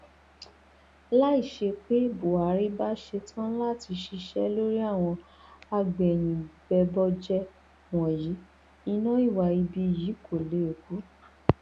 láìṣe pé buhari bá ṣetán láti ṣiṣẹ lórí àwọn agbẹyìnbẹbọjẹ wọnyí iná ìwà ibi yìí kó lè kú